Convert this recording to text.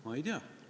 Ma ei tea.